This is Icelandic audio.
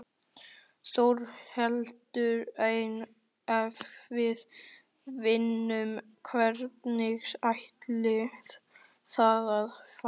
Þórhildur: En ef við vinnum, hvernig ætlið þið að fagna?